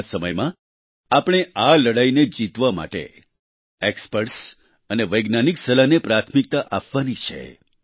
આ સમયમાં આપણે આ લડાઈને જીતવા માટે એક્સપર્ટ્સ અને વૈજ્ઞાનિક સલાહને પ્રાથમિકતા આપવાની છે